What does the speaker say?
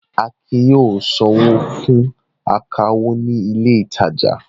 Akin yóò sanwó fún akawó ní ilé-ìtajà.